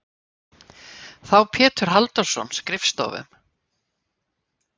þá Pétur Halldórsson skrifstofum.